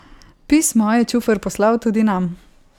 Pismo je Čufer poslal tudi nam.